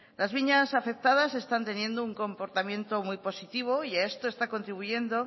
las viñas afectadas están teniendo un comportamiento muy positivo y a esto está contribuyendo